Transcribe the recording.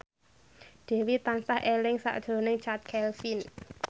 Dewi tansah eling sakjroning Chand Kelvin